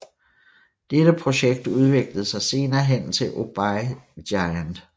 Dette projekt udviklede sig senere hen til OBEY Giant